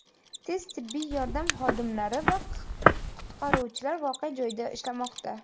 Tez-tibbiy yordam xodimlari va qutqaruvchilar voqea joyida ishlamoqda.